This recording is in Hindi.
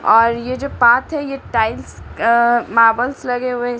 और ये जो पाथ है ये टाइल्स अः मार्बल्स लगे हुए हैं--